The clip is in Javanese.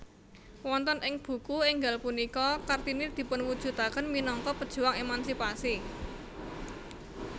Wonten ing buku énggal punika Kartini dipunwujudaken minangka pejuang emansipasi